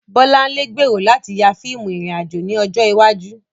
Bolanle gbèrò láti ya fíìmù ìrìn-àjò ní ọjọ́ iwájú.